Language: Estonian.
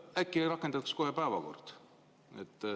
Äkki rakendatakse kohe päevakord?